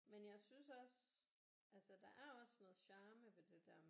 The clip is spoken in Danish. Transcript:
Men jeg synes også altså der er også noget charme ved det der